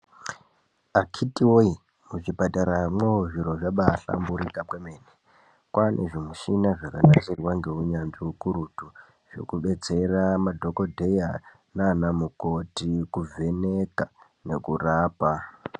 Akhiti voye muzvipataramwo zviro zvabahlamburika kwemene. Kwane zvimishina zvakanasirwa ngeunyanzvi hukurutu. Zvekubetsera madhogodheya nana mukoti kuvheneka nekurapa.